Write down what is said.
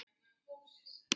Hvert tilvik er metið.